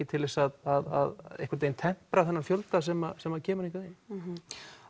til að tempra þennan fjölda sem sem kemur hingað inn